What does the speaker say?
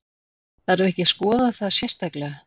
Þarf ekki að skoða það sérstaklega?